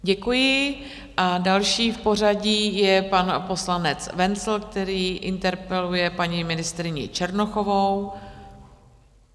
Děkuji a další v pořadí je pan poslanec Wenzl, který interpeluje paní ministryni Černochovou.